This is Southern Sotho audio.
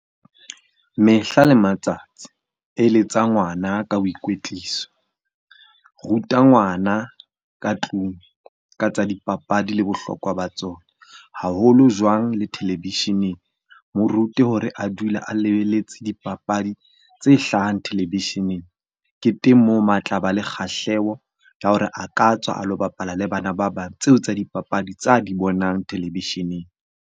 Mehla le matsatsi eletsa ngwana ka boikwetliso. Ruta ngwana ka tlung ka tsa dipapadi le bohlokwa ba tsona haholo jwang le televisheneng. Mo rute hore a dula a lebeletse dipapadi tse hlahang televisheneng, ke teng moo ma tlaba le kgahleho ya hore a ka tswa a lo bapala le bana ba bang tseo tsa dipapadi tsa di bonang televisheneng.